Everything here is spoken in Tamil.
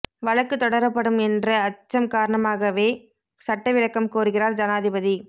வழக்குத் தொடரப்படும் என்ற அச்சம் காரணமாகவே சட்ட விளக்கம் கோருகிறார் ஜனாதிபதி